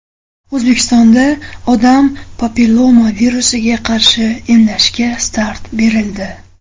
O‘zbekistonda odam papilloma virusiga qarshi emlashga start berildi.